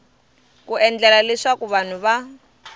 ku endlela leswaku vanhu va